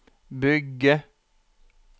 bygge